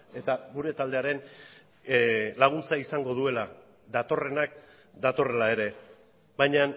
eta gure taldearen laguntza izango duela datorrenak datorrela ere baina